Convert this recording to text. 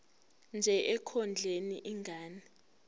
nje ekondleni ingane